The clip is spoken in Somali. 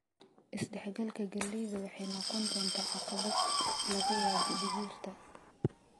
"Is dhex galka galleyda waxay noqon doontaa caqabad, laga yaabee digirta."